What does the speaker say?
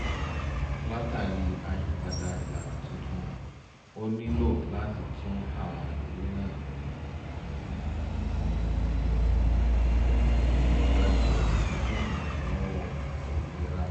látàrí àyípadà ìlànà tuntun ó nílò láti tún àwọn ìwé náà dá jọ fún ìrànlọ́wọ́ ètò ìlera